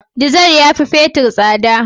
Dizar yafi fetir tsada.